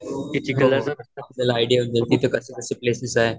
Idea येऊन जाईल तिथे कसेकसे प्लेसेस आहे.